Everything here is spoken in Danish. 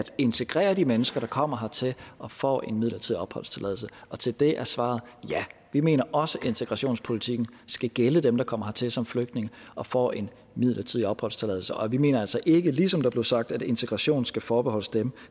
integrere de mennesker der kommer hertil og får en midlertidig opholdstilladelse og til det er svaret ja vi mener også at integrationspolitikken skal gælde dem der kommer hertil som flygtninge og får en midlertidig opholdstilladelse og vi mener altså ikke ligesom der blev sagt at integration skal forbeholdes dem